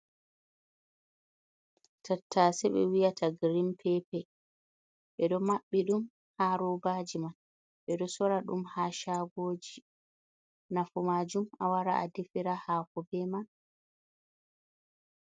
Tattase ɓe wiyata girin pepe, ɓeɗo mabbi ɗum ha robaji man, ɓeɗo sora ɗum ha shagoji, nafu majum awara a defira hako be man.